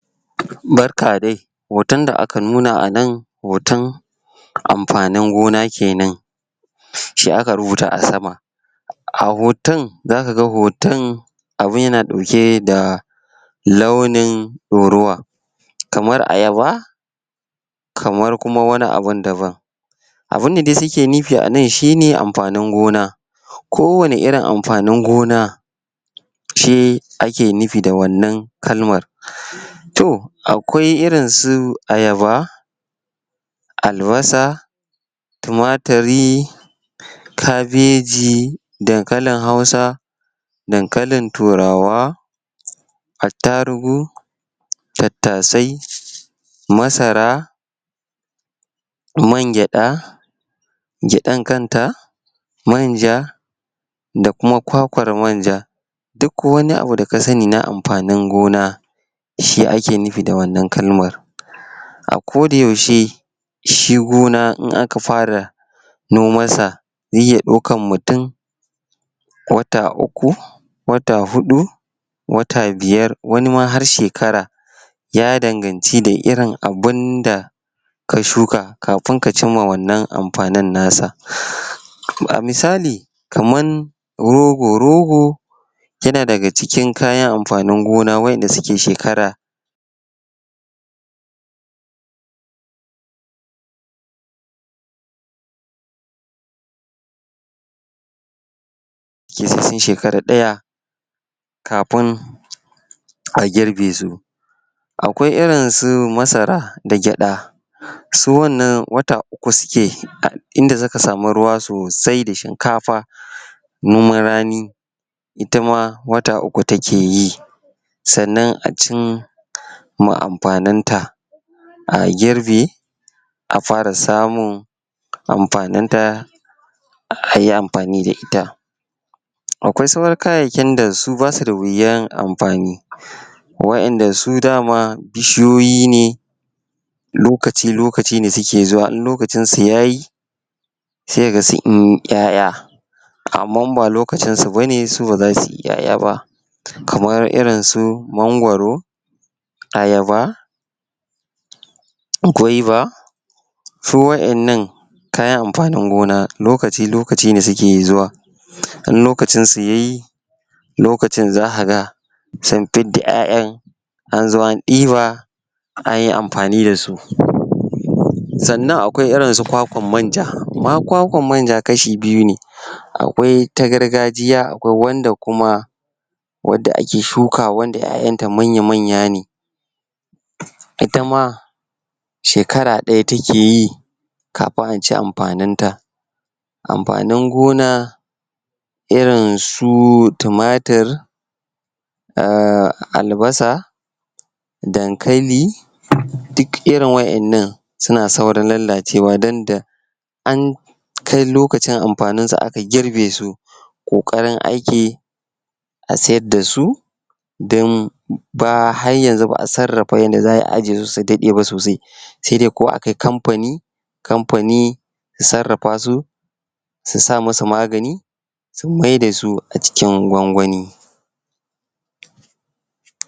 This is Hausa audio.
Barka dai hoton da aka nuna a nan hoton amfanin gona ke nan shi aka rubuta a sama. a hoton za ka ga hoton abun yana ɗauke da launin ɗorowa kamar ayaba kamar kuma wani abun da bam. Abun da dai suke nufi a nan shi ne amfanin gona, kowane irin amfanin gona. shi ake nufi da wannan kalmar. To akwai irinsu ayaba, albasa tumaturi kabeji, dankalin Hausa dankalin Turaw, attarigu tattasai masara man gyaɗa gyaɗan kanta, man ja da kuma kwakwar manja. Duk wani abu da ka sani na amfanin gona. shi ake nufi da wannan kalmar. A kodayaushe shi gona in aka fara nomansa, zai iya ɗaukar mutum wata uku wata huɗu wata biyar wani ma har shekara ya danganci da irin abin da ka shuka kafin ka cimma wannan amfanin nasa. kaman rogo. Rogo yana daga cikin kayan amafanin waɗanda suke shekara sai sun shekara ɗaya kafin a girbe su. Akwai irinsu masara da gyaɗa. Su wannan wata uku suke duk in da suka samu ruwa da shinkafa noman rani ita ma wata uku ta ke yi. Sannan a cin ma amfaninta, a girbe. a fara samun amfaninta a yi amfani da ita. akwai sauran kayayyakin da su ba su da wuyar amfani wa'inda su dama bishiyoyi ne. lokaci-lokaci ne suke zuwa, in lokacinsu ya yi. sai ka ga sun yi ƴaƴa amma in ba lokacinsu ba ne su ba za su yi ƴaƴa ba, kamar irinsu mangwaro, ayaba gwaiba su wa'innan kayan amfanin gona, lokaci-lokaci ne suke zuwa. in lokacinsu ya yi, lokacin za ka ga sun fidda ƴaƴan, an zo an ɗiba, an yi amfani da su. Sannan akwai rinsu kwakwar manja. Kwakwar manja kashi biyu ne Akwai ta gargajiya, akwai wanda kuma wadda ake shukawa wadda ƴaƴanta manya-manya ne. ita ma shekra ɗaya take yi kafin a ci amfaninta amfanin gona irin su tumatur albasa dankali duk irin waɗannan suna saurin lalacewa danda an kai lokacin amfaninsu aka girbe su ƙoƙari ake a siyar da su don ba har yanzu ba a sarrafa yanda za ai a aje su su daɗe ba sosai. sai dai ko a kai kamfani, kamfani ya sarrafa su su sa masu magani su maida su acikin gwangwani.